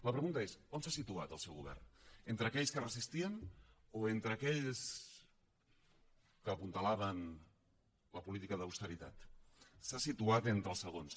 la pregunta és on s’ha situat el seu govern entre aquells que resistien o entre aquells que apuntalaven la política d’austeritat s’ha situat entre els segons